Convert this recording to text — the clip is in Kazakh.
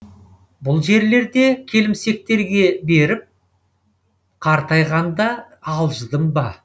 бұл жерлерді келімсектерге беріп қартайғанда алжыдым ба